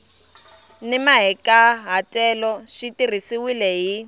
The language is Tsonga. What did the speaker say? ni mahikahatelo swi tirhisiwile hi